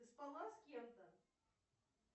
ты спала с кем то